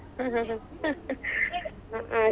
ಹಾ .